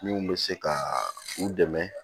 Min bɛ se ka u dɛmɛ